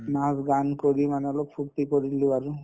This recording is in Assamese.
নাচ-গান কৰি মানে অলপ ফূৰ্তি কৰিলো আৰু